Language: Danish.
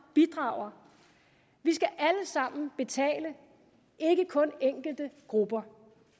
bidrager vi skal alle sammen betale ikke kun enkelte grupper